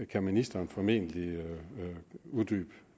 kan ministeren formentlig uddybe